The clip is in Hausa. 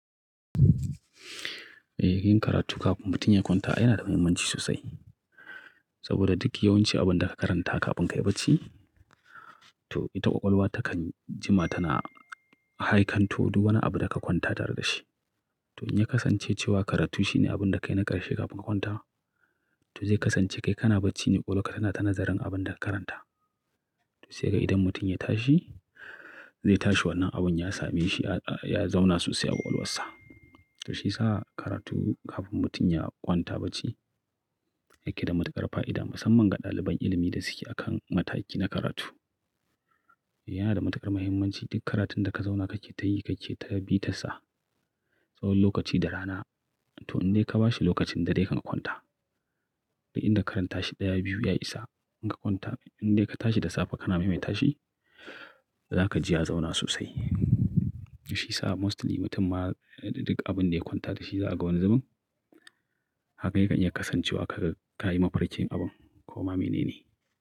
Eh, yin karatu kafin mutum ya kwanta yana da muhimmanci sosai. Saboda duk yawanci abin da ka karanta kafin ka yi bacci, to ita ƙwaƙwalwa takan jima tana haikanto duk wani abu da ka kwanta tare da shi. To in ya kasance cewa karatu shi ne abin da kai na ƙarshe kafin ka kwanta, to zai kasance kai kana bacci ne ƙwaƙwalwarka tana ta nazarin abin da ka karanta. Sai ga idan mutum ya tashi, zai tashi wannan abin ya same shi, ya zauna sosai a ƙwaƙwalwarsa. Shi yasa karatu kafin mutum ya kwanta bacci yake da matuƙar fa'ida musamman ga ɗaliban ilimi da suke akan mataki na karatu. Yana da matuƙar muhimmanci duk karatun da ka zauna kake tayi, kake ta bi tarsa, tsawon lokaci da rana. To indai ka ba shi lokacin dare dai kanka kwanta. Duk inda ka karanta shi ɗaya, biyu, ya isa. In ka kwanta, indai ka tashi da safe kana mai mai tashi, zaka ji ya zauna sosai. Shi sa mostly mutum ma duk abin da ya kwanta da shi za a ga wani zubin. Haka yakan iya kasance wa kaga ka yi mafarkin abun ko ma mene ne.